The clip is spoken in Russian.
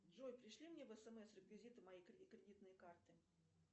джой пришли мне в смс реквизиты моей кредитной карты